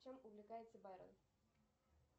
чем увлекается байрон